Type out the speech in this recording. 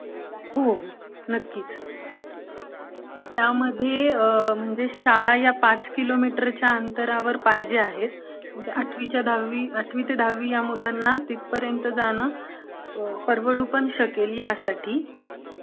हो नक्कीचं. त्यामध्ये म्हणजे शाळा ह्या पाच किलेमीटरच्या अंतरावर पाहिजे आहेत, आठवी ते दहावी या मुलांना तिथपर्यंत जाणं परवडू पण शकेल यासाठी